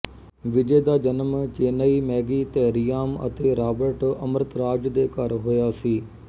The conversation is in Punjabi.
ਵਿਜੇ ਦਾ ਜਨਮ ਚੇਨਈ ਮੈਗੀ ਧੈਰਿਆਮ ਅਤੇ ਰਾਬਰਟ ਅਮ੍ਰਿਤਰਾਜ ਦੇ ਘਰ ਹੋਇਆ ਸੀ